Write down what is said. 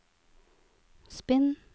spinn